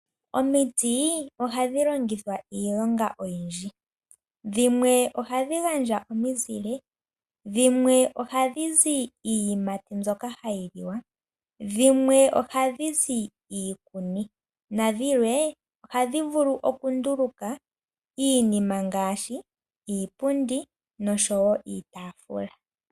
Omiti ohadhi longithwa iilonga oyindji. Dhimwe ohadhi gandja omizile, dhimwe ohadhi zi iiyimati mbyoka hayi liwa, dhimwe ohadhi zi iikuni nadhilwe ohadhi vulu okunduluka iinima ngaashi iipundi nosho wo iitaafula.